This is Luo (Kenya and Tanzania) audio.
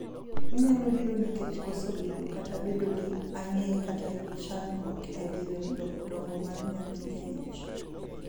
Onyalo biro nikech koso bedo Kata bedo gi ang'e kata chakruok e diere dongo mar yathi e ich.